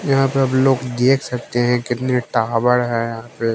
यहां पे अब लोग देख सकते हैं कितने टावर हैं यहां पे--